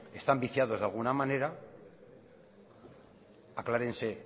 están viciados de alguna manera aclárense